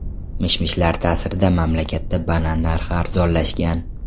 Mish-mishlar ta’sirida mamlakatda banan narxi arzonlashgan.